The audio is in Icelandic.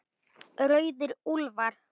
Rauðir úlfar